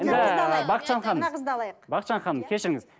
бақытжан ханым мына қызды алайық бақытжан ханым кешіріңіз